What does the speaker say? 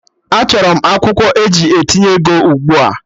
Achọrọ m akwụkwọ eji etinye ego ugbua!